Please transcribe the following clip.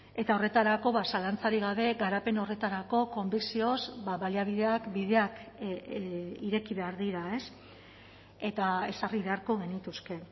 eta horretarako zalantzarik gabe garapen horretarako konbikzioz baliabideak bideak ireki behar dira eta ezarri beharko genituzke